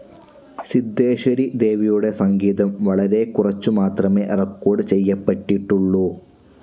സിധേശ്വരി ദേവിയുടെ സംഗീതം വളരെക്കുറച്ചു മാത്രമേ റെക്കോർഡ്‌ ചെയ്യപ്പെട്ടിട്ടുള്ളൂ.